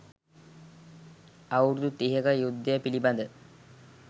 අවුරුදු තිහක යුද්ධය පිළිබඳ